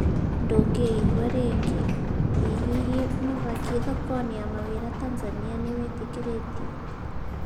Ndũngĩigua rĩngĩ, ĩ hĩhĩ, mahaki thoko-inĩ ya mawĩra Tanzania nĩwĩtĩkĩrĩtio